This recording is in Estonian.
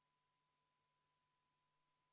Muudatusettepanekut toetas 3 Riigikogu liiget ja vastu oli 55.